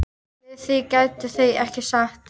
Við því gætu þau ekkert sagt.